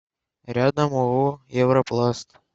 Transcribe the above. рядом ооо европласт